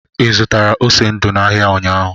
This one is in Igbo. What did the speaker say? Ị zụtara ose ndu n'ahịa ụnyaahụ?